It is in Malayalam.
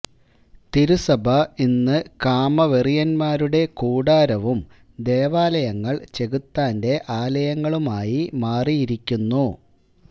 തിരുസഭ ഇന്ന് കാമ വെറിയന്മാരുടെ കൂടാരവും ദേവാലയങ്ങൾ ചെകുത്താന്റെ ആലയങ്ങളും ആയി മാറിയിരിക്കുന്നു